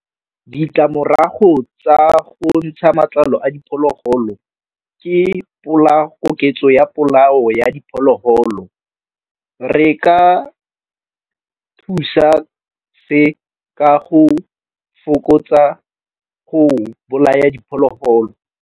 Ditlamorago tsa go ntsha matlalo a diphologolo ke koketso ya polao ya diphologolo re ka thusa se ka go fokotsa go bolaya diphologolo.